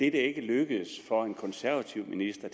ikke er lykkedes for en konservativ minister